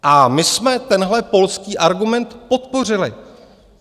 A my jsme tenhle polský argument podpořili.